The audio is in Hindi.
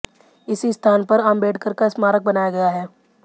इसी स्थान पर आंबेडकर का स्मारक बनाया गया है